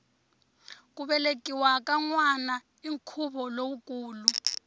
ku velekiwa ka nwana i nkhuvo lowukulu